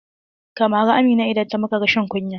Ka mari Amina idan ta maka rashin kunya!